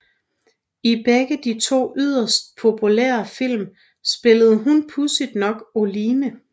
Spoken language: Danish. I begge de to yderst populære film spillede hun pudsigt nok Oline